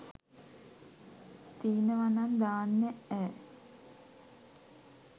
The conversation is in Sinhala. තීනවනං දාන්න ඈ